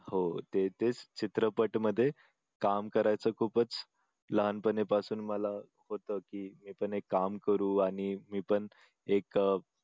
हो ते तेच चित्रपट मध्ये काम करायचं खूपच लहानपणापासून मला होतं की आपण एक काम करू आणि मी पण एक